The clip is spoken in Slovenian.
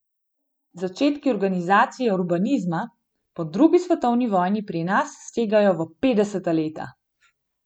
Začetki organizacije urbanizma po drugi svetovni vojni pri nas segajo v petdeseta leta.